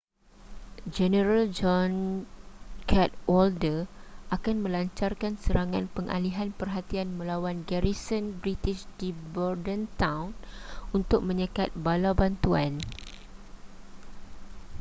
jeneral john cadwalder akan melancarkan serangan pengalihan perhatian melawan garison british di bordentown untuk menyekat bala bantuan